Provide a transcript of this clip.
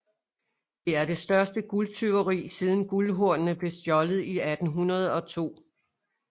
Det var det største guldtyveri siden Guldhornene blev stjålet i 1802